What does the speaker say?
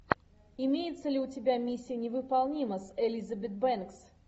имеется ли у тебя миссия невыполнима с элизабет бэнкс